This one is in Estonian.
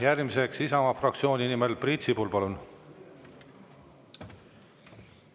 Järgmiseks Isamaa fraktsiooni nimel Priit Sibul, palun!